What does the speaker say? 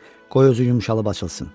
Qoy özü yumşalıb açılsın.